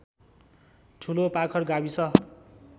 ठुलोपाखर गाविस